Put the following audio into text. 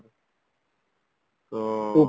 ତ